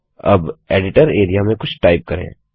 अब editor area में कुछ टाइप करें